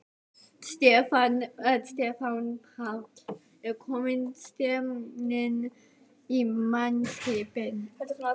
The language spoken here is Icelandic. Stefán Páll: Er komin stemning í mannskapinn?